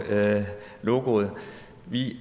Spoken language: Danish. logoet vi